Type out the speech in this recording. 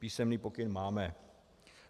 Písemný pokyn máme.